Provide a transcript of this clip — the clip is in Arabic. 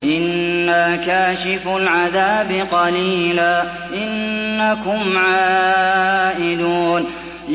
إِنَّا كَاشِفُو الْعَذَابِ قَلِيلًا ۚ إِنَّكُمْ عَائِدُونَ